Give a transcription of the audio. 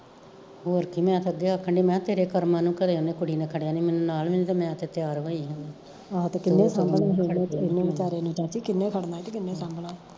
ਹੋਰ ਕੀ ਮੈਂ ਤਾਂ ਅੱਗੇ ਆਖਣ ਡਈ ਮੈਂ ਕਿਹਾ ਕਿਹੜੇ ਕਰਮਾਂ ਨੂੰ ਉਹਨੇ ਕੁੜੀ ਨੇ ਖੜਿਆ ਨੀ ਮੈਂਨੂੰ ਨਾਲ਼ ਨਹੀਂ ਮੈਂ ਤੇ ਤਿਆਰ ਹੋਈ ਸਾ